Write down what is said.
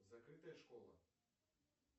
закрытая школа